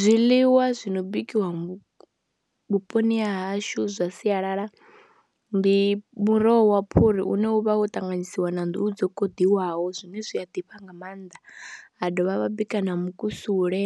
Zwiḽiwa zwi no bikiwa vhuponi ha hashu zwa sialala ndi muroho wa phuri une wa vha wo ṱanganyisiwa na nḓuhu dzo koḓelwaho zwine zwi a ḓifha nga maanḓa, ha dovha ha vha bika na mukusule,